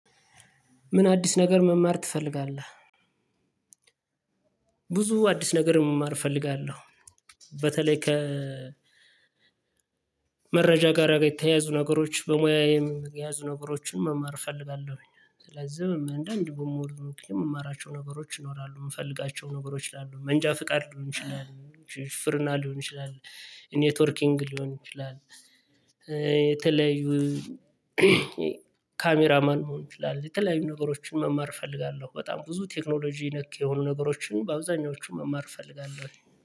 ምን አዲስ ነገር መማር ትፈልጋለህ? ብዙ አዲስ ነገር መማር እፈልጋለሁ። በተለይ ከ መረጃ ጋር የተያዙ ነገሮች በሙያዬም የያዙ ነገሮችን መማር እፈልጋለሁኝ። ስለዚህ አንዳንድ በሙሉ የምማራቸው ነገሮች ይኖራሉ የምፈልጋቸው ነገሮች ላሉ መንጃ ፍቃድ ሊሆን ይችላል ሽፍርና ሊሆን ይችላል ኔትወርኪንግ ሊሆን ይችላል። የተለያዩ- ካሜራማን መሆን ይችላል የተለያዩ ነገሮችን መማር እፈልጋለሁ። በጣም ብዙ ቴክኖሎጂ ነክ የሆኑ ነገሮችን በአብዛኞቹ መማር እፈልጋለሁ።